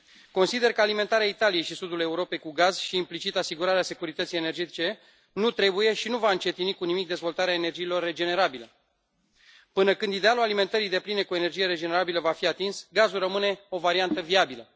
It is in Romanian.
Consider că alimentarea Italiei și a Sudului Europei cu gaz și, implicit, asigurarea securității energetice nu trebuie și nu va încetini cu nimic dezvoltarea energiilor regenerabile. Până când idealul alimentării depline cu energie regenerabilă va fi atins, gazul rămâne o variantă viabilă.